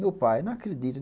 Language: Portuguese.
Meu pai, não acredito.